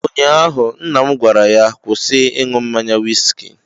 Ụnyaahụ nna m gwara ya, kwụsị ịṅụ mmanya wiski